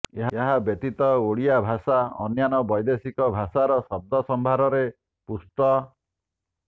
ଏହା ବ୍ୟତୀତ ଓଡ଼ିଆ ଭାଷା ଅନ୍ୟାନ୍ୟ ବୈଦେଶିକ ଭାଷାର ଶବ୍ଦ ସମ୍ଭାରରେ ପୁଷ୍ଟ